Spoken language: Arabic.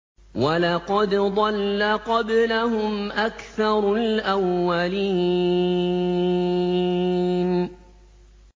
وَلَقَدْ ضَلَّ قَبْلَهُمْ أَكْثَرُ الْأَوَّلِينَ